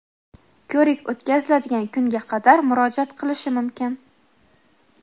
ko‘rik o‘tkaziladigan kunga qadar murojaat qilishi mumkin.